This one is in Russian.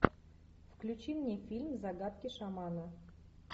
включи мне фильм загадки шамана